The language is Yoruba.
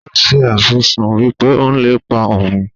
ó se àfisùn wípé ó ń lépa òun.